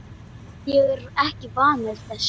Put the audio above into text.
Ég er ekki vanur þessu.